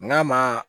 N'a ma